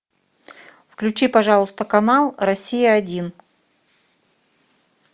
включи пожалуйста канал россия один